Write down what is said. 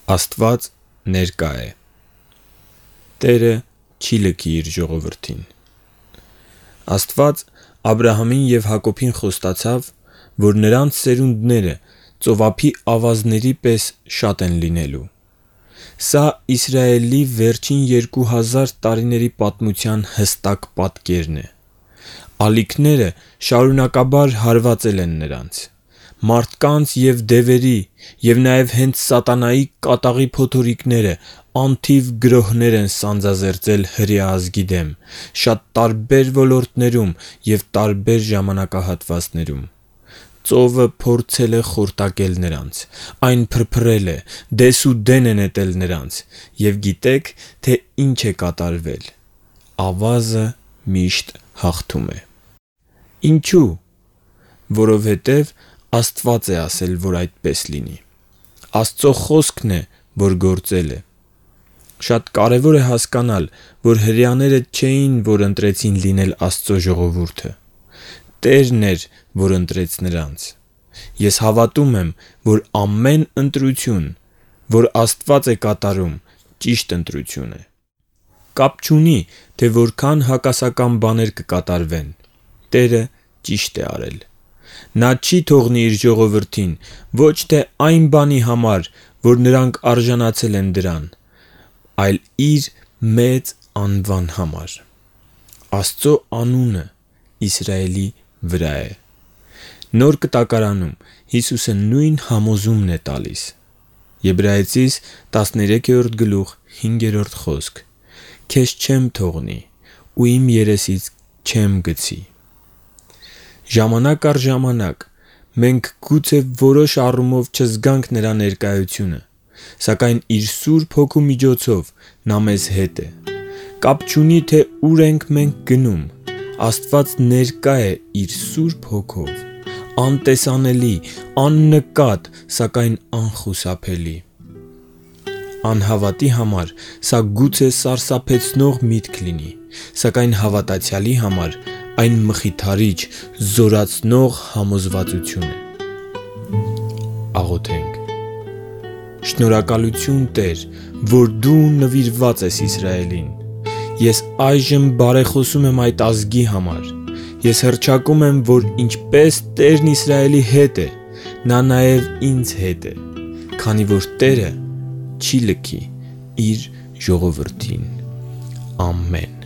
«ԱՍՏՎԱԾ ՆԵՐԿԱ է» Տերը չի լքի Իր ժողովրդին։ Աստված Աբրահամին և Հակոբին խոստացավ, որ նրանց սերունդները ծովափի ավազների պես են լինելու։ Սա Իսրայելի վերջին երկու հազար տարիների պատմության հստակ պատկերն է։ Ալիքները շարունակաբար հարվածել են նրանց։ Մարդկանց, դևերի և նաև հենց սատանայի կատաղի փոթորիկները անթիվ գրոհներ են սանձազերծել հրեա ազգի դեմ՝ շատ տարբեր ոլորտներում և տարբեր ժամանակահատվածներում։ Ծովը փորձել է խորտակել նրանց, այն փրփրել է, դես ու դեն է նետել նրանց։ Եվ գիտե՞ք, թե ինչ է կատարվել։ Ավազը միշտ հաղթում է։ Ինչու՞։ Որովհետև Աստված է ասել, որ այդպես լինի։ Աստծո Խոսքն է, որ գործել է։ Շատ կարևոր է հասկանալ, որ հրեաները չէին, որ ընտրեցին լինել Աստծո ժողովուրդը։ Տերն էր, որ ընտրեց նրանց։ Ես հավատում եմ, որ ամեն ընտրություն, որ Աստված է կատարում, ճիշտ ընտրություն է։ Կապ չունի, թե որքան հակասական բաներ կկատարվեն, Տերը ճիշտ է արել։ Նա չի թողնի իր ժողովրդին, ոչ թե այն բանի համար, որ նրանք արժանացել են դրան, բայց Իր մեծ անվան համար։ Աստծո անունն Իսրայելի վրա է։ Նոր Կտակարանում Հիսուսը նույն համոզումն է տալիս. «Քեզ չեմ թողնի ու երեսից չեմ գցի» (Եբրայեցիներին 13:5)։ Ժամանակ առ ժամանակ մենք գուցե որոշ առումով չզգանք նրա ներկայությունը, սակայն իր Սուրբ Հոգու միջոցով նա մեզ հետ է։ Կապ չունի, թե ուր ենք մենք գնում, Աստված ներկա է Իր Սուրբ Հոգով` անտեսանելի, աննկատ, սակայն անխուսափելի։ Անհավատի համար սա գուցե սարսափեցնող միտք լինի, սակայն հավատացյալի համար այն մխիթարիչ, զորացնող համոզվածություն է։ Շնորհակալությու՛ն, Տե՛ր, որ Դու նվիրված ես Իսրայելին։ Ես այժմ բարեխոսում եմ այդ ազգի համար։ Ես հռչակում եմ, որ ինչպես Տերն Իսրայելի հետ է, Նա նաև ինձ հետ է, քանի որ Տերը չի լքի Իր ժողովրդին։ Ամեն։